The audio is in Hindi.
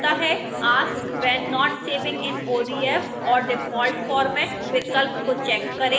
ask when not saving in odf or default format विकल्प को check करें